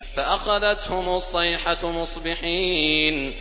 فَأَخَذَتْهُمُ الصَّيْحَةُ مُصْبِحِينَ